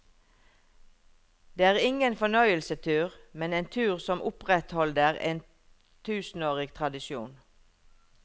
Det er ingen fornøyelsestur, men en tur som opprettholder en tusenårig tradisjon.